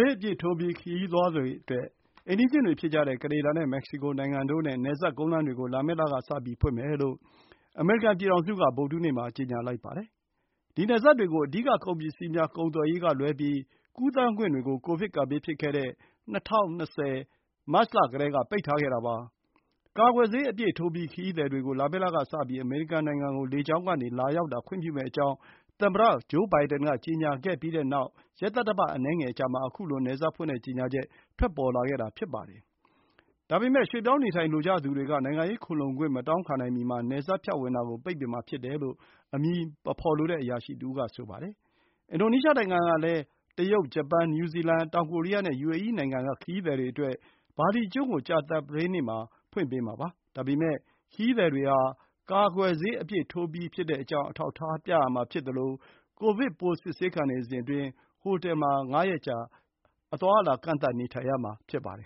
ေးအပြည့်ထိုးပြီး ခရီးသွားတွေအတွက် အိမ်နီးချင်းတွေဖြစ်ကြတဲ့ ကနေဒါနဲ့ မက္ကဆီကိုနိုင်ငံတို့နဲ့ နယ်စပ်ကုန်းလမ်းတွေကို လာမယ့်လကစပြီး ဖွင့်မယ်လို့ အမေရိကန် ပြည်ထောင်စုက ဗုဒ္ဓဟူးနေ့မှာ ကြေညာလိုက်ပါတယ်။ ဒီနယ်စပ်တွေကို အဓိက ကုန်ပစ္စည်းများ ကုန်သွယ်ရေးကလွဲပြီး ကူးသန်းခွင့်တွေကို ကိုဗစ် ကပ်ဘေးဖြစ်ခဲ့တဲ့ ၂၀၂၀ ခုနှစ် မတ်လကတည်းက ပိတ်ထားခဲ့တာပါ။ကာကွယ်ဆေး အပြည့် ထိုးပြီး ခရီးသည်တွေကို လာမယ့်လကစပြီး အမေရိကန်နိုင်ငံကို လေကြောင်းကနေ လာရောက်တာ ခွင့်ပြုမယ့်အကြောင်း သမ္မတဂျိုးဘိုင်ဒင်က ကြေညာခဲ့ပြီး ရက်သတ္တပတ် အနည်းငယ် အကြာမှာ ခုလို နယ်စပ်ဖွင့်တဲ့ကြေညာချက် ထွက်ပေါ်လာခဲ့တာ ဖြစ်ပါတယ်။ဒါပေမဲ့ ရွှေ့ပြောင်းနေထိုင်လိုကြသူတွေက နိုင်ငံရေးခိုလှုံခွင့် မတောင်းခံနိုင်မီမှာ နယ်စပ်ဖြတ်ဝင်တာကို ပိတ်ပင် မှာ ဖြစ်တယ်လို့အမည်မဖော်လိုတဲ့အရာရှိတွေက ပြောကြပါတယ်။ အင်ဒိုနီးရှားနိုင်ငံကလည်း China ၊ Japan ၊ New Zealand ၊ South Korea နဲ့ယူအေအီး နိုင်ငံ က ခရီးသည်တွေအတွက် ဘာလီကျွန်းကို ကြာသပတေးမှာ ဖွင့်ပေးမှာပါ။ ဒါပေမဲ့ ခရီးသည်တွေဟာ ကာကွယ်ဆေး အပြည့်ထိုးပြီးကြောင်း အထောက်အထား ပြသရမှာဖြစ်သလို ကိုဗစ်ပိုး စစ်ဆေးခံနေစဉ်အတွင်း ဟိုတယ်မှာ ငါးရက်ကြာ အသွားအလာ ကန့်သတ်နေထိုင်ရမှာ ဖြစ်ပါတယ်